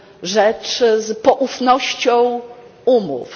rzecz z poufnością umów.